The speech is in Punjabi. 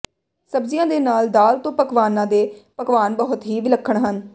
ਸਬਜ਼ੀਆਂ ਦੇ ਨਾਲ ਦਾਲ ਤੋਂ ਪਕਵਾਨਾਂ ਦੇ ਪਕਵਾਨ ਬਹੁਤ ਹੀ ਵਿਲੱਖਣ ਹਨ